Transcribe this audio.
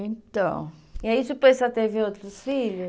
Então... E aí depois a senhora teve outros filhos?